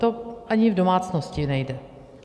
To ani v domácnosti nejde.